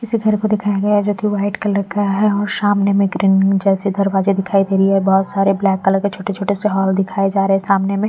किसी घर को दिखाया गया है जो कि वाइट कलर का है और सामने में ग्रीन जैसे दरवाजे दिखाई दे रही है बहुत सारे ब्लैक कलर के छोटे-छोटे से हॉल दिखाए जा रहे हैं सामने में--